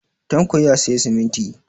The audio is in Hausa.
Tanko ya sayi siminti.